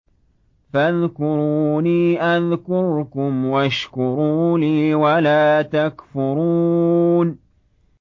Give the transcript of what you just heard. فَاذْكُرُونِي أَذْكُرْكُمْ وَاشْكُرُوا لِي وَلَا تَكْفُرُونِ